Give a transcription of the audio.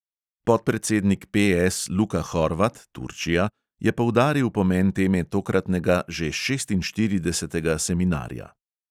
Podpredsednik PS luka horvat je poudaril pomen teme tokratnega, že šestinštiridesetega seminarja.